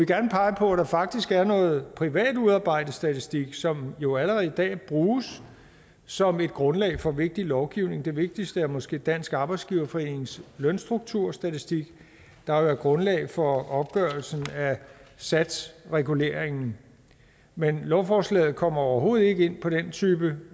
gerne pege på at der faktisk er noget privat udarbejdet statistik som jo allerede i dag bruges som grundlag for vigtig lovgivning det vigtigste er måske dansk arbejdsgiverforenings lønstrukturstatistik der er grundlaget for opgørelsen af satsreguleringen men lovforslaget kommer overhovedet ikke ind på den type